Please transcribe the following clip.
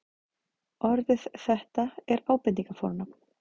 orðið þetta er ábendingarfornafn